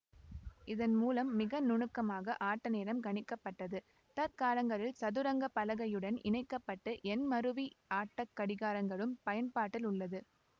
இதன் மூலம் மிக நுணுக்கமாக ஆட்ட நேரம் கணிக்க பட்டது தற்காலங்களில் சதுரங்க பலகையுடன் இணைக்க பட்ட எண்மருவி ஆட்டக் கடிகாரங்களும் பயன்பாட்டில் உள்ளது